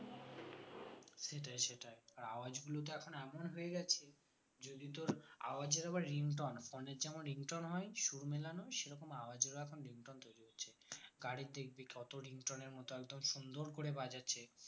সেটাই সেটাই আর আওয়াজগুলো তো এখন এমন হয়ে গেছে যদি তোর আওয়াজ এর আবার ringtone phone এর যেমন ringtone হয় সুর মেলানো সেরকম আওয়াজ এরও ringtone তৈরি হচ্ছে গাড়ির দেখবি কত ringtone এর মতো একদম সুন্দর করে বাজাচ্ছে